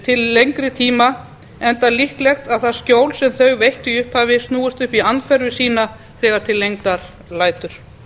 til lengri tíma enda líklegt að það skjól sem þau veittu í upphafi snúist upp í andhverfu sína þegar til lengdar lætur